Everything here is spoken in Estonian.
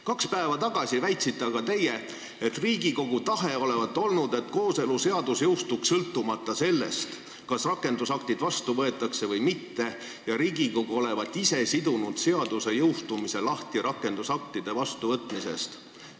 Kaks päeva tagasi väitsite aga teie, et Riigikogu tahe olevat olnud, et kooseluseadus jõustuks sõltumata sellest, kas rakendusaktid vastu võetakse või mitte, ja Riigikogu olevat ise seaduse jõustumise rakendusaktide vastuvõtmisest lahti sidunud.